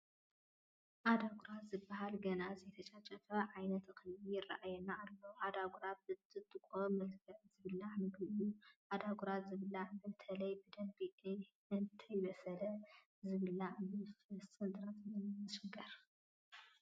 ኣዳጉራ ዝበሃል ገና ዘይተጨጨፈ ዓይነት እኽሊ ይርአየና ኣሎ፡፡ ኣዳጉራ ብጥጥቖ መልክዕ ዝብላዕ ምግቢ እዩ፡፡ ዓደጉራ ዝበልዓ በተለይ ብደንቢ እንተይበሰለ ዝበልዐ ብፈስን ጥራጥን እዩ ዝሽገር፡፡